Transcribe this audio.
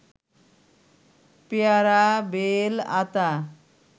পেয়ারা বেল আতা